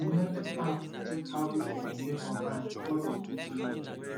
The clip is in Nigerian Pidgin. some lending apps dey check how people behave online before dem give loan